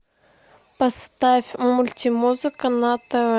поставь мультимузыка на тв